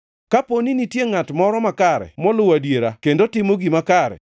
“Kaponi nitie ngʼat moro makare moluwo adiera kendo timo gima kare.